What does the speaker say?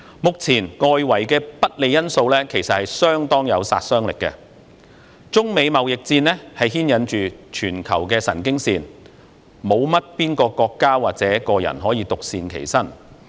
目前，外圍的不利因素已經相當具殺傷力，中美貿易戰牽引着全球的神經線，沒有國家或個人可以獨善其身。